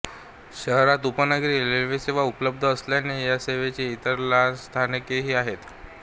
शहरात उपनगरी रेल्वेसेवा उपलब्ध असल्याने या सेवेची इतर लहान स्थानकेही आहेत